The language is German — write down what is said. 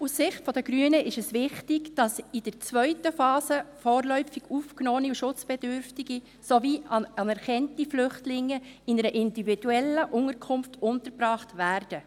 Aus Sicht der Grünen ist es wichtig, dass in der zweiten Phase vorläufig Aufgenommene und Schutzbedürftige sowie anerkannte Flüchtlinge in einer individuellen Unterkunft untergebracht werden.